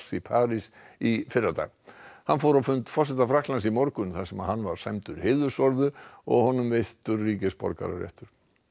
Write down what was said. í París í fyrradag hann fór á fund forseta Frakklands í morgun þar sem hann var sæmdur og honum veittur ríkisborgararéttur